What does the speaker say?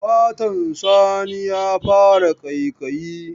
Fatan Sani ya fara ƙaiƙayi.